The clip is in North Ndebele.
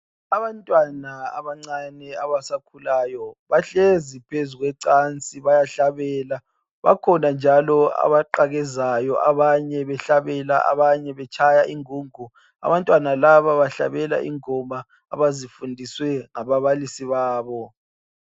Abantwana abancane abasakhulayo bahlezi phezulu kwecansi bayahlala. Bakhona njalo amaqakezayo abanye behlabela abanye betshaya ingungu. Abantwana laba bahlabela ingoma abazifundizswe ngababalisi babo.